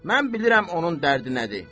Mən bilirəm onun dərdi nədir.